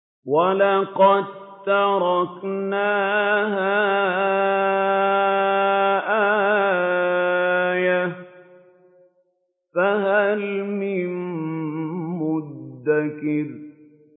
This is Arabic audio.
وَلَقَد تَّرَكْنَاهَا آيَةً فَهَلْ مِن مُّدَّكِرٍ